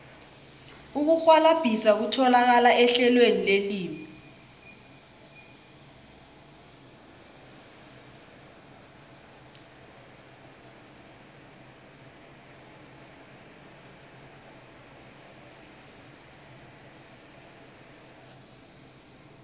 ukurhwalabhisa kutholakala ehlelweni lelimi